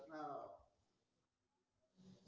आह